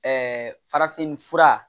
farafin fura